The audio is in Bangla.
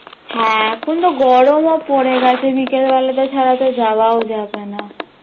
হ্যাঁ এখনতো গরমও পড়ে গেছে বিকেলবেলাতো ছাড়াতো যাওয়াও যাবে না